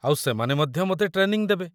ଆଉ ସେମାନେ ମଧ୍ୟ ମୋତେ ଟ୍ରେନିଂ ଦେବେ